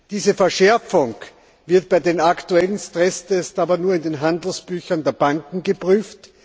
Diese Verschärfung wird bei den aktuellen Stresstests aber nur in den Handelsbüchern der Banken geprüft.